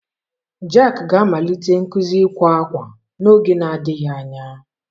Jack ga-amalite nkuzi ịkwa akwa n'oge adịghị anya